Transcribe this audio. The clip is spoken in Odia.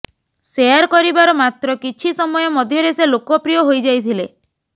ସେୟାର କରିବାର ମାତ୍ର କିଛ ସମୟ ମଧ୍ୟରେ ସେ ଲୋକପ୍ରିୟ ହୋଇଯାଇଥିଲେ